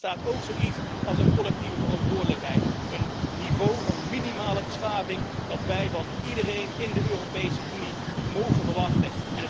Maar er bestaat ook zoiets als een collectieve verantwoordelijkheid, een niveau van minimale beschaving dat wij van iedereen in de Europese Unie mogen verwachten.